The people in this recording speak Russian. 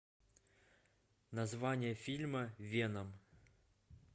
название фильма веном